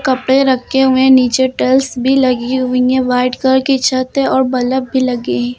कपड़े रखे हुए हैं नीचे टाइल्स भी लगी हुई हैं वाइट कलर की छत है और बल्ब भी लगे हैं।